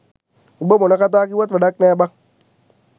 උඹ මොන කතා කිව්වත් වැඩක් නෑ බන්